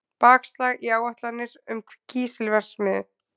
Bakslag í áætlanir um kísilverksmiðju